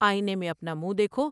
آئینے میں اپنا منہ دیکھو ۔